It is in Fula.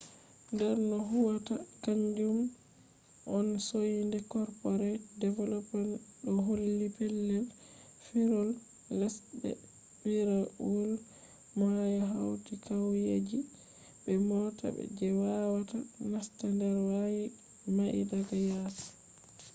der no huwwata kanju on soinde corporate development ɗo holli. pellel firawol les be firawol mayo hauti qauyeji be mota je wawata nasta der quaye mai daga yasi